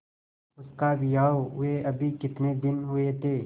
उसका विवाह हुए अभी कितने दिन हुए थे